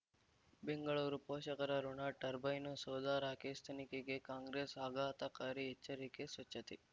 ಬೆಂಗಳೂರು ಪೋಷಕರಋಣ ಟರ್ಬೈನು ಸೌಧ ರಾಕೇಶ್ ತನಿಖೆಗೆ ಕಾಂಗ್ರೆಸ್ ಆಘಾತಕಾರಿ ಎಚ್ಚರಿಕೆ ಸ್ವಚ್ಛತೆ